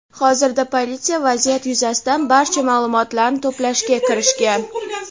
Hozirda politsiya vaziyat yuzasidan barcha ma’lumotlarni to‘plashga kirishgan.